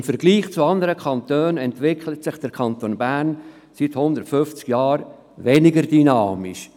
Im Vergleich zu anderen Kantonen entwickelt sich der Kanton Bern seit 150 Jahren weniger dynamisch.